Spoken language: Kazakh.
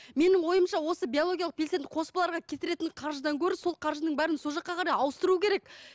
менің ойымша осы биологиялық белсенді қоспаларға кетіретін қаржыдан гөрі сол қаржының бәрін сол жаққа қарай ауыстыру керек